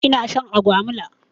Ina shan agwaluma.